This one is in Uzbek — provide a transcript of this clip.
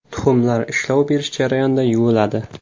Tuxumlar ishlov berish jarayonida yuviladi.